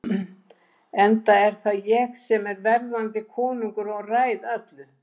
Enda er það ég sem er verðandi konungur og ræð öllu.